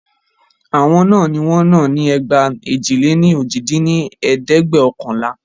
Àwọn náà ní wọ́n náà ni ẹgba èjì-lé-ní-ojì dín ní ẹ̀ẹ́dẹ́gbẹ́ọ̀kànlá